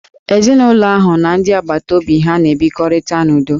Ezinụlọ ahụ n'ndị agbataobi ha n'ebikọrịta n'udo